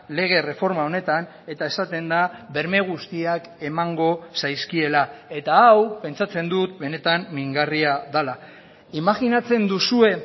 lege erreforma honetan eta esaten da berme guztiak emango zaizkiela eta hau pentsatzen dut benetan mingarria dela imajinatzen duzue